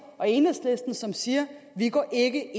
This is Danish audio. og enhedslisten som siger vi går ikke